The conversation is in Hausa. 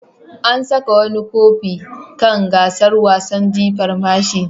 An saka wani kofi kan gasar wasan jifan mashi.